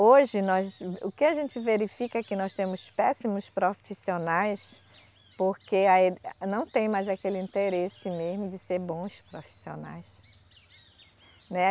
Hoje, nós, o que a gente verifica é que nós temos péssimos profissionais porque a e, não tem mais aquele interesse mesmo de ser bons profissionais. Né